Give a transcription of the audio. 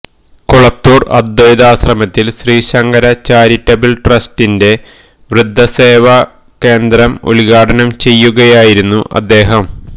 കൊളത്തൂർ അദൈ്വതാശ്രമത്തിൽ ശ്രീശങ്കര ചാരിറ്റബിൾ ട്രസ്റ്റിന്റെ വൃദ്ധസേവാ കേന്ദ്രം ഉദ്ഘാടനം ചെയ്യുകയായിരുന്നു അദ്ദേഹം